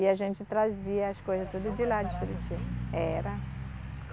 E a gente trazia as coisas tudo de lá de Juruti. Era